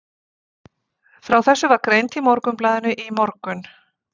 Frá þessu var greint í Morgunblaðinu í morgun.